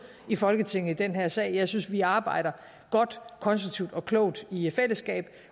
i folketinget i den her sag jeg synes vi arbejder godt konstruktivt og klogt i fællesskab